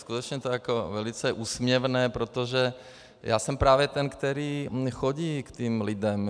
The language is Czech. Skutečně to je velice úsměvné, protože já jsem právě ten, který chodí k těm lidem.